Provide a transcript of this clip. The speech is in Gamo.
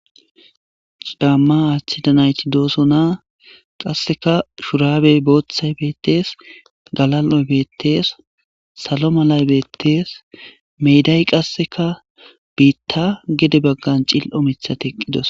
C'aama aatida nayti de'osona kaseka shurabey boothay beethes galal'oy beetes salo malay beetes meeday kaseka biita gede bagan cil'o mithati eqidosona.